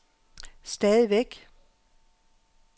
stadigvæk